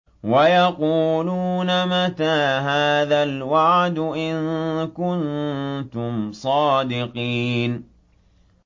وَيَقُولُونَ مَتَىٰ هَٰذَا الْوَعْدُ إِن كُنتُمْ صَادِقِينَ